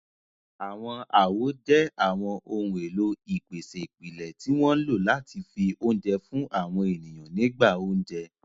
Àwọn àwo jẹ́ àwọn ohun èlò ìpèsè ìpìlẹ̀ tí wọ́n ń lò láti fi oúnjẹ fún àwọn ènìyàn nígbà oúnjẹ.